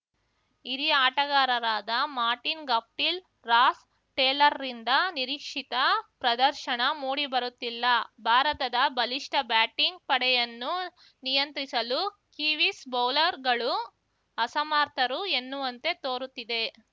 ಹಿರಿಯ ಆಟಗಾರರಾದ Martin Guptill Ross ಟೇಲರ್‌ರಿಂದ ನಿರೀಕ್ಷಿತ ಪ್ರದರ್ಶನ ಮೂಡಿಬರುತ್ತಿಲ್ಲ ಭಾರತದ ಬಲಿಷ್ಠ ಬ್ಯಾಟಿಂಗ್‌ ಪಡೆಯನ್ನು ನಿಯಂತ್ರಿಸಲು ಕಿವೀಸ್‌ ಬೌಲರ್‌ಗಳು ಅಸಮರ್ಥರು ಎನ್ನುವಂತೆ ತೋರುತ್ತಿದೆ